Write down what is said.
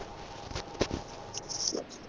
ਅੱਛਾ